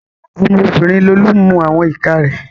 Ọmọ obìnrin Lolú ń mu àwọn ìka rẹ̀